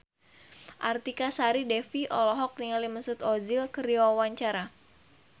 Artika Sari Devi olohok ningali Mesut Ozil keur diwawancara